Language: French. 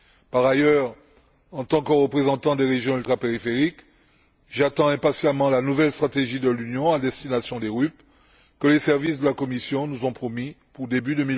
Par ailleurs, en tant que représentant des régions ultrapériphériques, j'attends impatiemment la nouvelle stratégie de l'Union à destination des RUP, que les services de la Commission nous ont promise pour début